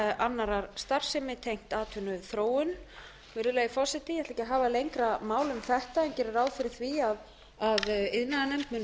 annarrar starfsemi tengt atvinnuþróun virðulegi forseti ég ætla ekki að hafa lengra mál um þetta en geri ráð fyrir því að iðnaðarnefnd muni